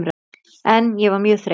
En ég var mjög þreytt.